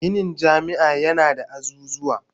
Ginin jami'a yana da azuzuwan